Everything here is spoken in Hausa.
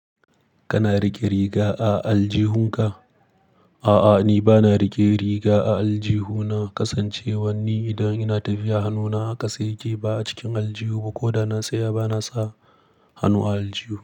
Kana riƙe riga a aljihunka? A'a, ni ba na riƙe riga a aljihu na. Kasancewar ni idan ina tafiya hannuna a ƙasa yake ba a cikin aljihu ba. Ko da na tsaya ba na sa hannu a aljihu.